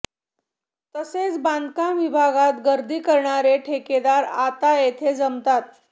तसेच बांधकाम विभागात गर्दी करणारे ठेकेदार आता येथे जमतात